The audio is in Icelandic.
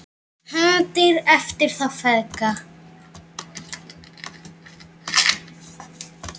HEFNDIR EFTIR ÞÁ FEÐGA